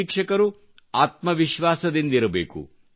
ಶಿಕ್ಷಕರು ಆತ್ಮವಿಶ್ವಾಸದಿಂದಿರಬೇಕು